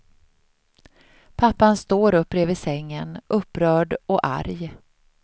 Pappan står upp bredvid sängen, upprörd och arg.